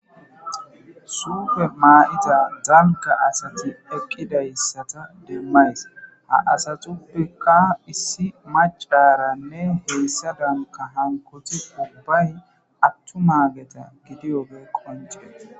suufe maa7ita daliga asati eqqidayissata demmays ha asaxuppeqa issi macaranne heessa danka hankoti ubbay attumaageta gidiyobe qonce